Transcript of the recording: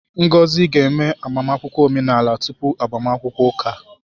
Ngozi ga-eme agbamakwụkwọ omenala tupu agbamakwụkwọ ụka